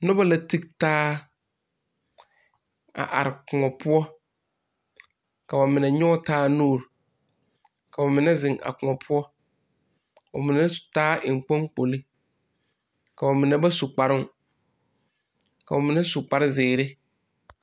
Noba la ti taa a are koɔ poɔ ka ba mine nyɔge taa nuuri ka ba mine zeŋ a koɔ poɔ ka ba mine taa enkponkpolo ka ba mine ba su kparoo ka ba mine su kparzeere.